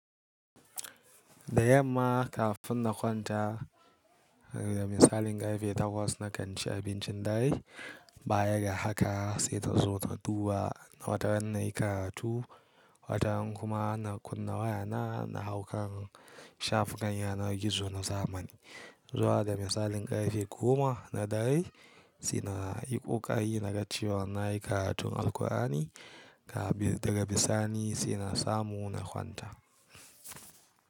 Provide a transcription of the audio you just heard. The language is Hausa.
Da yamma kafin na kwanta, da misalin ƙarfe takwas na kan ci abincin dare. Bayan haka sai ta zo ta duba na wataran nayi karatu. Wataran kuma na kunna wayana na haukan shafukan yanar gizo na zamani. Zuwa da misalin ƙarfe goma na dare, suna yi ƙoƙari na gace wa nai karatun Alqurani, daga bisani saina samu na kwanta.